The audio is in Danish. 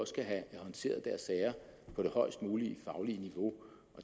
skal have håndteret deres sager på det højest mulige faglige niveau